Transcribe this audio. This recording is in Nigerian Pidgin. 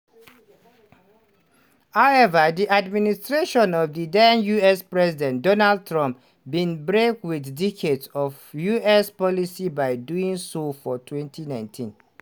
however di administration of di den us president donald trump bin break with decades of us policy by doing so for 2019.